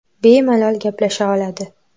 Bemalol gaplasha oladi.